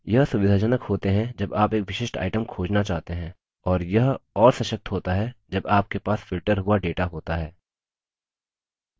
यह सुविधाजनक होते हैं जब आप एक विशिष्ट item खोजना चाहते हैं और यह और सशक्त होता है जब आपके पास filtered हुआ data होता है